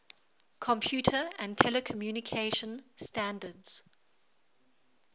computer and telecommunication standards